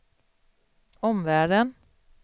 omvärlden